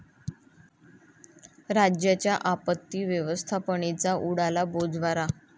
राज्याच्या आपत्ती व्यवस्थापनेचा उडाला बोजवारा